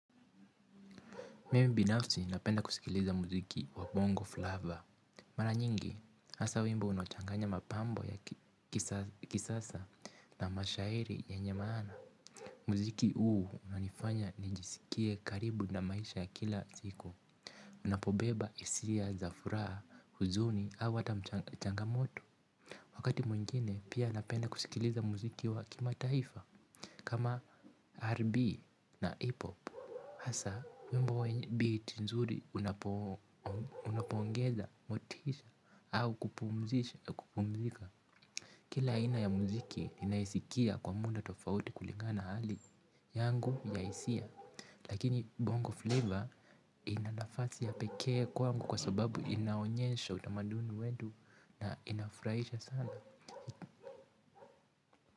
Mimi binafsi napenda kusikiliza muziki wa Bongo Flava. Mara nyingi, hasa wimbo unachanganya mapambo ya kisasa na mashairi yenye maana. Muziki huu unanifanya nijisikie karibu na maisha ya kila siku. Unapobeba hisia za furaha huzuni au hata mchanga moto. Wakati mwingine pia napenda kusikiliza muziki wa kimataifa. Kama RNB. Na hip pop. Hasa, wimbo biti nzuri unapoongeza, motisha, au kupumzisha, kupumzika. Kila aina ya muziki ninaisikia kwa muda tofauti kulingana na hali yangu ya hisia lakini bongo flavour ina nafasi ya pekee kwangu kwa sababu inaonyesha utamaduni wetu na inafurahisha sana.